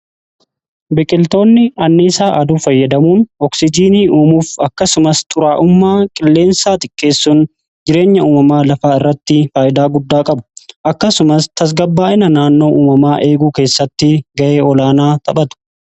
biqiltoonni anniisaa aduu fayyadamuun ooksijiinii uumuuf akkasumas xuraa'ummaa qilleensaa xiqqeessuun jireenya uumamaa lafaa irratti faayidaa guddaa qabu akkasumas tasgabbaa'ina naannoo uumamaa eeguu keessatti ga'ee olaanaa taphatu